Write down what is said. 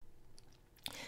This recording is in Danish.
DR2